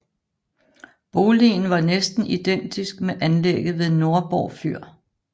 Boligen var næsten identisk med anlægget ved Nordborg Fyr